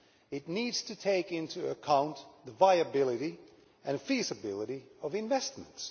It needs to take into account the viability and feasibility of investments.